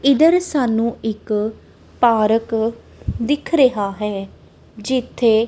ਇਧਰ ਸਾਨੂੰ ਇੱਕ ਪਾਰਕ ਦਿਖ ਰਿਹਾ ਹੈ ਜਿੱਥੇ--